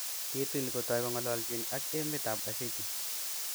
Kitil kotoi kongalchin ak kametab Ashiki